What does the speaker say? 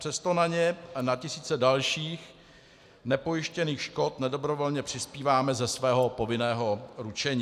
Přesto na ně a na tisíce dalších nepojištěných škod nedobrovolně přispíváme ze svého povinného ručení.